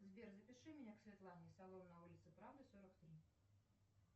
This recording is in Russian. сбер запиши меня к светлане салон на улице правды сорок три